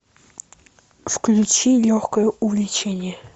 включи легкое увлечение